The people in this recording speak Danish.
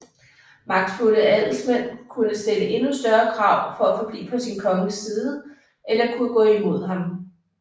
Magtfulde adelsmænd kunne stille endnu større krav for at forblive på sin konges side eller kunne gå imod ham